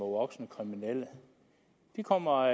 voksne kriminelle de kommer